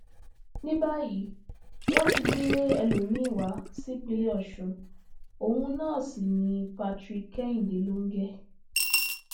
ní báyìí wọn ti gbé ẹlòmíín wá sípínlẹ ọṣùn òun náà sí ní patrick kẹhìndé lọnge